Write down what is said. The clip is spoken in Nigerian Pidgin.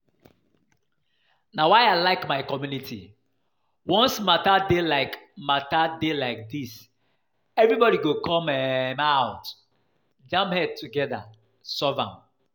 Na why I like my community, once matter dey like matter dey like dis everybody go come um out jam head together solve am